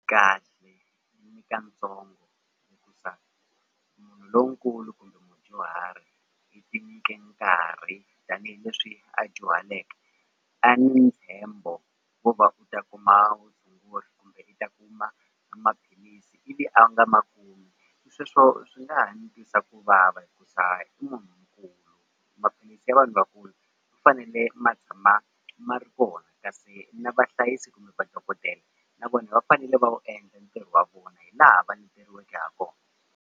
Kahle munhu lonkulu kumbe mudyuhari i tinyike nkarhi tanihileswi a dyuhaleke a ni ntshembo wo va u ta kuma vutshunguri kumbe i ta kuma maphilisi ivi a nga makumi sweswo swi nga ha ni twisa ku vava hikuza i munhu ya vanhu vakulu ma fanele ma tshama ma ri kona kasi na vahlayisi kumbe madokodela na vona va fanele va wu endla ntirho wa vona hi laha va leteriweke ha kona.